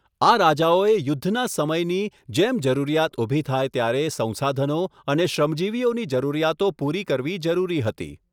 આ રાજાઓએ યુદ્ધના સમયની જેમ જરૂરિયાત ઊભી થાય ત્યારે સંસાધનો અને શ્રમજીવીઓની જરૂરિયાતો પૂરી કરવી જરૂરી હતી.